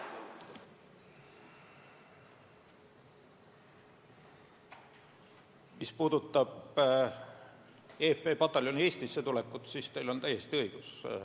Mis puudutab eFP pataljoni Eestisse tulekut, siis teil on täiesti õigus.